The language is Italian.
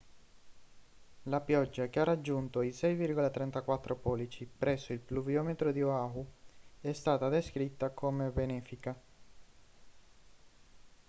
la pioggia che ha raggiunto i 6,34 pollici presso il pluviometro di oahu è stata descritta come benefica